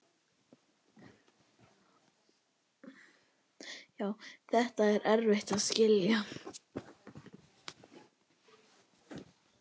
Þetta er erfitt að skilja.